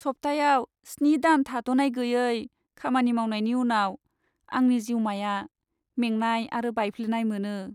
सप्तायाव स्नि सान थाद'नाय गैयै खामानि मावनायनि उनाव आंनि जिउमाया मेंनाय आरो बायफ्लेनाय मोनो।